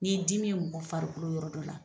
N'i dimi ye mɔgɔ farikolo yɔrɔ dɔ la.